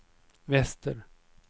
väster